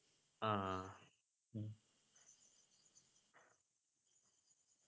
ആഹ്